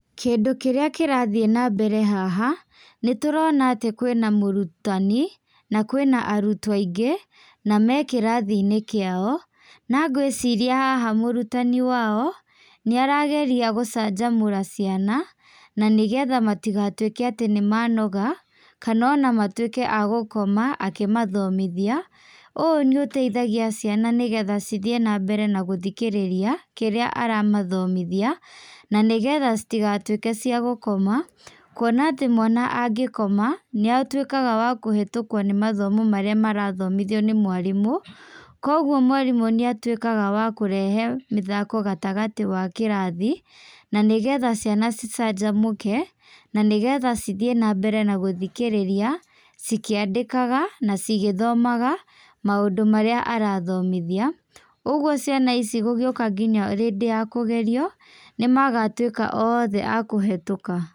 Kĩndũ kĩrĩa kĩrathiĩ nambere haha, nĩtũrona atĩ kwĩna mũrutani, na kwĩna arutwo aingĩ, na mekĩrathiinĩ kĩao, nangwĩciria haha mũrutani wao, nĩarageria gũcanjamũra ciana, na nĩgetha matigatuĩke atĩ nĩmanoga, kana ona matuĩke agũkoma, akĩmathomithia, ũũ nĩũteithagia ciana nĩgetha cithiĩ nambere nagũthikĩrĩria, kĩrĩa aramathomithia, nanĩgetha citigatuĩke cia gũkoma kuona atĩ mwana angĩkoma, nĩatuĩkaga wa kũhetũkwo nĩmathomo marĩa marathomithio nĩ mwarimũ, koguo mwarimũ nĩatuĩkaga wa kũrehe mĩthako gatagati wa kĩrathi, nanĩgetha ciana cicanjamũke, na nĩgetha cithiĩ nambere na gũthikĩrĩria cikĩandĩkaga na cigĩthomaga, maũndũ marĩa arathomithia, ũguo ciana ici gũgĩũka nginya rĩndĩ ya kũgerio, nĩmagatuĩka othe akũhetũka.